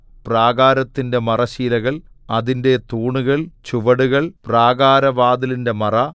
പ്രാകാരത്തിന്റെ മറശ്ശീലകൾ അതിന്റെ തൂണുകൾ ചുവടുകൾ പ്രാകാരവാതിലിന്റെ മറ